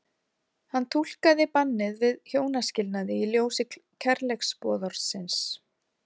Hann túlkaði bannið við hjónaskilnaði í ljósi kærleiksboðorðsins.